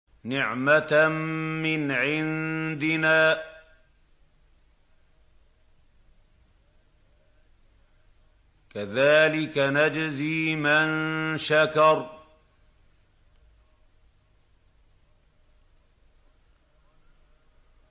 نِّعْمَةً مِّنْ عِندِنَا ۚ كَذَٰلِكَ نَجْزِي مَن شَكَرَ